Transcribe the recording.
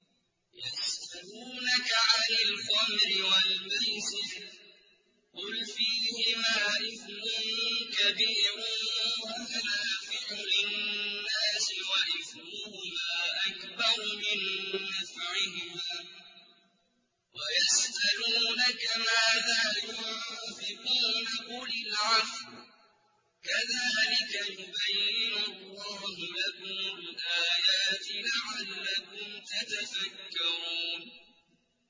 ۞ يَسْأَلُونَكَ عَنِ الْخَمْرِ وَالْمَيْسِرِ ۖ قُلْ فِيهِمَا إِثْمٌ كَبِيرٌ وَمَنَافِعُ لِلنَّاسِ وَإِثْمُهُمَا أَكْبَرُ مِن نَّفْعِهِمَا ۗ وَيَسْأَلُونَكَ مَاذَا يُنفِقُونَ قُلِ الْعَفْوَ ۗ كَذَٰلِكَ يُبَيِّنُ اللَّهُ لَكُمُ الْآيَاتِ لَعَلَّكُمْ تَتَفَكَّرُونَ